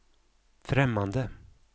främmande